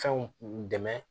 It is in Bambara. Fɛnw dɛmɛ